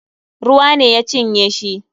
Ruwa ne ya cinye shi.